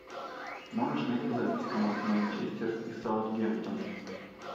можешь найти запись команд манчестер и саутгемптон